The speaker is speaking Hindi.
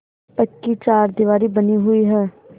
पक्की चारदीवारी बनी हुई है